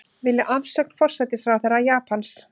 Vilja afsögn forsætisráðherra Japans